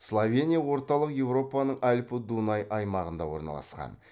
словения орталық еуропаның алпі дунай аймағында орналасқан